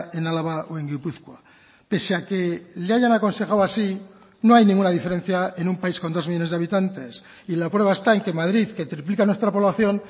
en álava o en gipuzkoa pese a que le hayan aconsejado así no hay ninguna diferencia en un país con dos millónes de habitantes y la prueba está en que madrid que triplica nuestra población